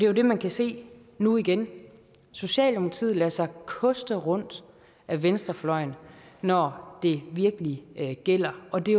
jo det man kan se nu igen socialdemokratiet lader sig koste rundt af venstrefløjen når det virkelig gælder og det